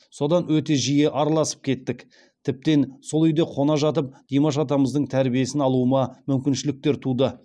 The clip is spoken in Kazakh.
содан өте жиі араласып кеттік тіптен сол үйде қона жатып димаш атамыздың тәрбиесін алуыма мүмкіншіліктер туды